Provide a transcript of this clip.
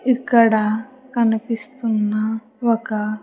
ఇక్కడ కనిపిస్తున్న ఒక.